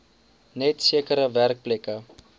net sekere werkplekke